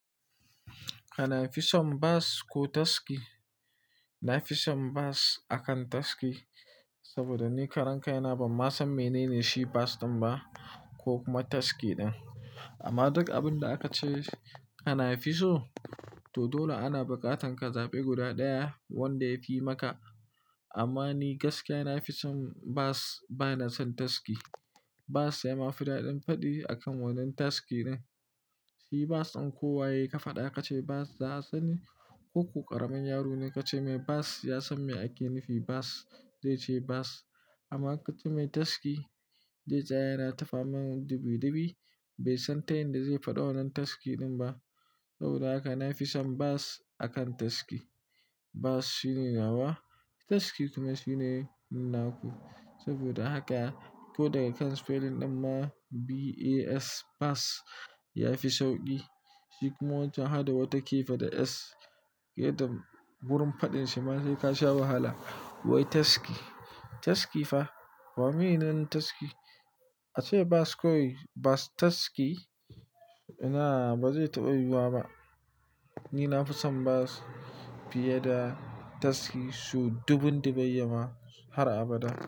Kana fison bas ko taski? Na fi son bas akan taski, saboda ni ƙaranka ina ban ma san menene shi bas ɗin ba ko kuma taski ɗin. Amma duk abin da aka ce kana fiso, to dole ana buƙatan ka zaɓi guda ɗaya wanda ya fi maka. Amma ni gaskiya na fi son bas, bana son taski. Bas ya ma fi daɗin faɗi akan wannan taski ɗin. Shi bas ɗin kowa yai ka faɗa ka ce bas, za a sani. Ko ku ƙaramin yaro ne ka ce mai bas, ya san me ake nufi bas, zai ce bas. Amma ka ce mai taski, zai tsaya yana tafa mana dubi dubi bai san ta yanda zai faɗa wannan taski ɗin ba. Saboda haka na fi son bas akan taski. Bas shine nawa taski kuma shine naku. Saboda haka ko daga kan spelling ɗin ma B-A-S bas ya fi sauƙi. Shi kuma wajen hada wata ke faɗi S, yada wurin faɗin shi ma zai ka sha wahala. Wai taski, taski fa wa mene nan taski? A ce bas kowai bas taski, ina ba zai taɓa yiwuwa ba. Ni na fi son bas fiye da taski so dubun dubayya ma har abada.